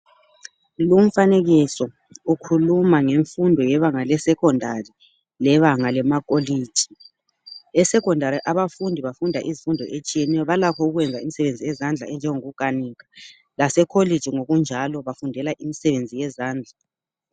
Lo umfanekiso ukhuluma ngefundo ebanga le'secondary ' lebanga lamakholitshi. E 'secondary' abafundi bafunda izimfundo etshiyeneyo. Balakho ukwenza imisebenzi yezandla enjongokukhanika . Lase kholiji njalo bafundela imisebenzi yezandla.